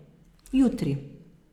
Jutri.